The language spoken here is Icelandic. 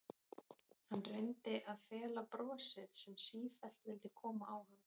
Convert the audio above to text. Hann reyndi að fela brosið sem sífellt vildi koma á hann.